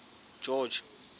george